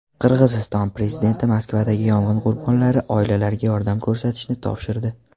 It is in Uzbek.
Qirg‘iziston prezidenti Moskvadagi yong‘in qurbonlari oilalariga yordam ko‘rsatishni topshirdi.